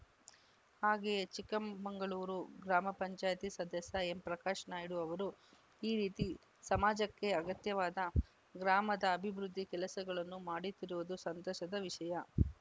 ಹಾಗೆಯೇ ಚಿಕ್ಕ ಮ ಮಂಗಳೂರು ಗ್ರಾಮ ಪಂಚಾಯತಿ ಸದಸ್ಯ ಎಂಪ್ರಕಾಶ ನಾಯ್ಕ ಅವರು ಈ ರೀತಿ ಸಮಾಜಕ್ಕೆ ಅಗತ್ಯವಾದ ಗ್ರಾಮದ ಅಭಿವೃದ್ಧಿ ಕೆಲಸಗಳನ್ನು ಮಾಡುತ್ತಿರುವುದು ಸಂತಸದ ವಿಷಯ